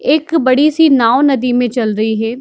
एक बड़ी-सी नाव नदी में चल रही है।